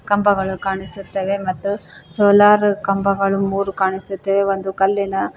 ಕಂಬಗಳು ಕಾಣಿಸುತ್ತವೆ ಮತ್ತು ಸೋಲಾರ್ ಕಂಬಗಳು ಮೂರು ಕಾಣಿಸುತ್ತವೆ ಒಂದು ಕಲ್ಲಿನ--